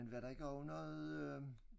Men var der ikke også noget øh